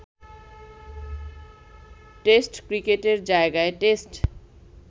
test ক্রিকেটের জায়গায় test